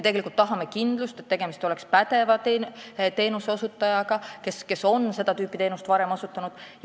Me tahame kindlust, et tegemist oleks pädeva teenuseosutajaga, kes on seda tüüpi teenust varem osutanud.